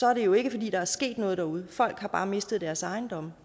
er det jo ikke fordi der er sket noget derude folk har bare mistet deres ejendomme